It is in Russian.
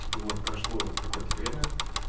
вот прошло какое-то время